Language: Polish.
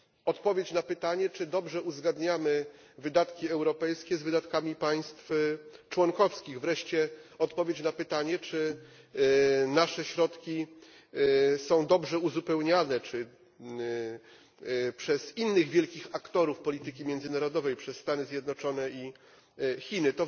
Odpowiedź na pytanie, czy dobrze uzgadniamy wydatki europejskie z wydatkami państw członkowskich, wreszcie odpowiedź na pytanie, czy nasze środki są dobrze uzupełniane przez innych wielkich aktorów polityki międzynarodowej, przez Stany Zjednoczone i Chiny.